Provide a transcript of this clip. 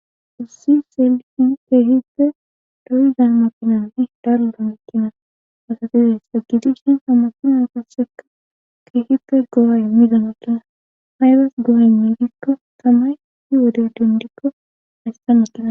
Issi seliin keehipte doyzan makinanne dalbamekkina asatizays a gidishin hammasuna taseka keehipte go7ay midamakkina haydas go7ay miidikko tamay hi wode dundikko haystamekina